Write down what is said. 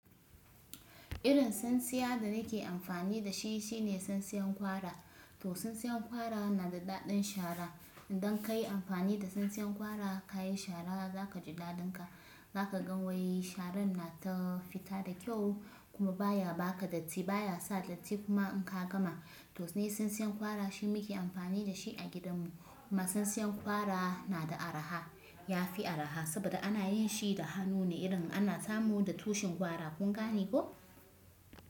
Irin tsintsiya da nake amfani da shi shine tsintsiyan gwara. To tsintsiyan gwara na da daɗin shara. Idan ka yi amfani da tsintsiyan gwara ka yi shara, za ka ji daɗin ka. Za ka ga wai sharan na ta fita da kyau kuma baya ba ka datti, baya sa datti kuma in ka gama. To sune tsintsiyan gwara shine muke amfani da shi a gidan mu. Kuma tsintsiyan gwara na da araha, ya fi araha saboda ana yin shi da hannu ne irin ana samu da tushin gwara. Kun gane ko?